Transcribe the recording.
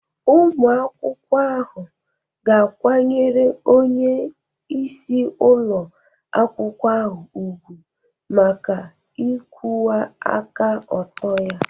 Ụmụ akwụkwọ ahụ ga-akwanyere onyeisi ụlọ akwụkwọ ahụ ùgwù maka ịkwụwa aka ọtọ ya